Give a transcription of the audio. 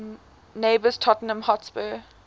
neighbours tottenham hotspur